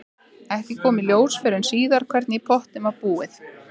Ekki kom í ljós fyrr en síðar hvernig í pottinn var búið.